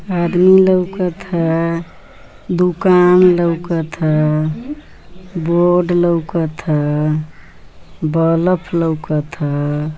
आदमी लोकत ह दुकान लोकत ह बोर्ड लोकत ह बलब लोकत ह।